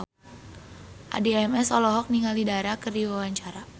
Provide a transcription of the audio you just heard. Addie MS olohok ningali Dara keur diwawancara